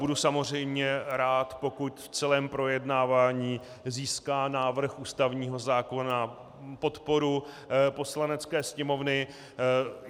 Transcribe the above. Budu samozřejmě rád, pokud v celém projednávání získá návrh ústavního zákona podporu Poslanecké sněmovny.